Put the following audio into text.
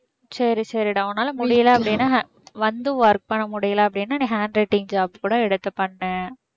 சரி சரிடா உன்னால முடியல அப்படினா வந்து work பண்ண முடியல அப்படின்னா நீ handwriting job கூட எடுத்து பண்ணு